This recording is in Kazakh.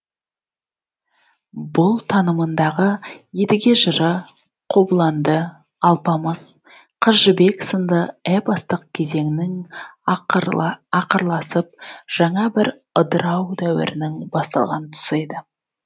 бұл танымындағы едіге жыры қобыланды алпамыс қыз жібек сынды эпостық кезеңнің ақырласып жаңа бір ыдырау дәуірінің басталған тұсы еді